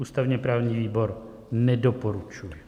Ústavně-právní výbor nedoporučuje.